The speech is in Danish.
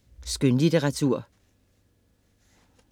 Skønlitteratur